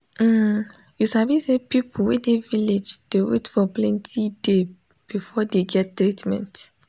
um you sabi say people wey dey village dey wait for plenti day before dey get treatment.